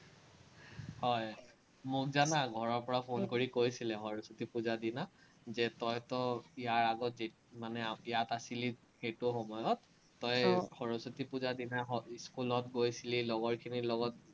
হয়, মোক জানা ঘৰৰপৰা phone কৰি কৈছিলে, সৰস্বতী পুজাৰ দিনা যে তইতো ইয়াৰ আগত মানে ইয়াত আছিলি, সেইটো সময়ত তই সৰস্বতী পুজা দিনা স্কুলত গৈছিলি, লগৰখিনিৰ লগত